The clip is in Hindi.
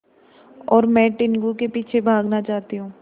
और मैं टीनगु के पीछे भागना चाहती हूँ